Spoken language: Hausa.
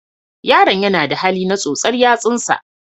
Yaron yana da hali na tsotsa yatsunsa.